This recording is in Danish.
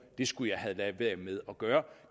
de skulle have ladet være med at gøre